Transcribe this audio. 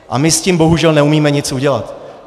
A my s tím bohužel neumíme nic udělat.